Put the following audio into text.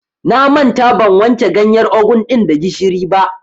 Na manta ban wanke ganyar ogun ɗin da gishiri ba.